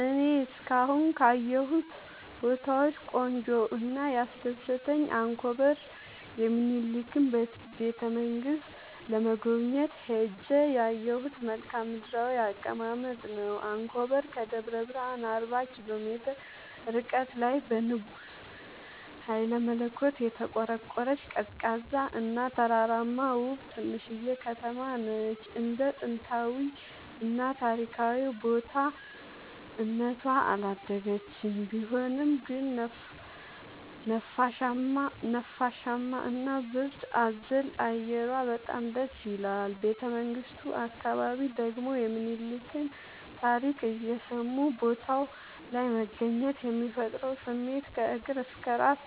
እኔ እስካሁን ካየሁት ቦታወች ቆንጆው እና ያስደሰተኝ አንኮበር የሚኒልክን ቤተ-መንግስት ለመጎብኘት ሄጄ ያየሁት መልከአ ምድራዊ አቀማመጥ ነው። አንኮበር ከደብረ ብረሃን አርባ ኪሎ ሜትር ርቀት ላይ በንጉስ ሀይለመለኮት የተቆረቆረች፤ ቀዝቃዛ እና ተራራማ ውብ ትንሽዬ ከተማነች እንደ ጥንታዊ እና ታሪካዊ ቦታ እነቷ አላደገችም ቢሆንም ግን ነፋሻማ እና ብርድ አዘል አየሯ በጣም ደስይላል። ቤተመንግቱ አካባቢ ደግሞ የሚኒልክን ታሪክ እየሰሙ ቦታው ላይ መገኘት የሚፈጥረው ስሜት ከእግር እስከ እራስ